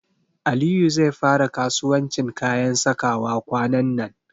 Aliyu zai fara kasuwancin kayan sakawa kwanan nan.